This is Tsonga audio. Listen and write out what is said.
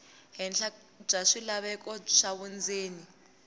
henhla bya swilaveko swa vundzeni